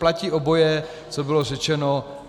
Platí oboje, co bylo řečeno.